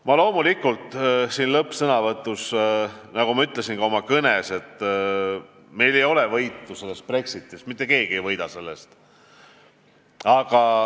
Ma loomulikult kordan siin lõppsõnavõtus oma tõdemust äsjases ülevaates, et mitte keegi ei võida Brexitist.